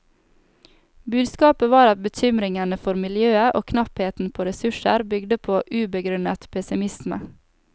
Budskapet var at bekymringene for miljøet og knappheten på ressurser bygde på ubegrunnet pessimisme.